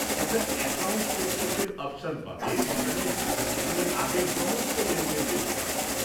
একটা অ্যাকাউন্ট স্টেটমেন্টের অপশন পাবে, যেখান তুমি আগের সমস্ত লেনদেন দেখতে পারবে।